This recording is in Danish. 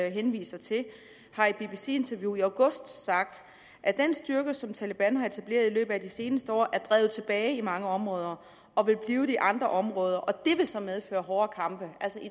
henviser til har i et bbc interview i august sagt at den styrke som taleban har etableret i løbet af de seneste år er drevet tilbage i mange områder og vil blive det i andre områder og det vil så medføre hårdere kampe altså i